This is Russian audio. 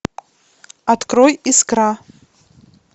открой искра